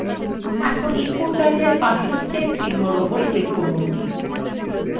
এখন input line এর পাশের check চিহ্নর উপর click করুন